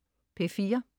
P4: